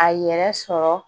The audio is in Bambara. A yɛrɛ sɔrɔ